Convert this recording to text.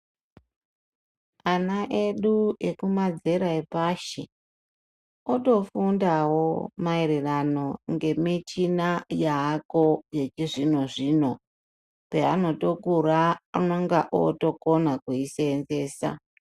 Ana edu ekumazera epashi kutofundawo maererano nemichina yavako yechizvino zvino peanotokura unonga otokona kuiseenzesa.